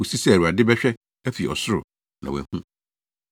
kosi sɛ Awurade bɛhwɛ afi ɔsoro, na wahu.